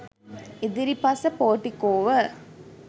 ඉදිරිපස පෝටිකෝව